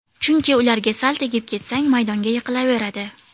Chunki ularga sal tegib ketsang, maydonga yiqilaveradi.